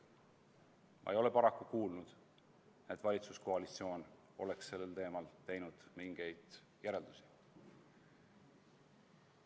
Ma ei ole paraku kuulnud, et valitsuskoalitsioon oleks sellel teemal mingeid järeldusi teinud.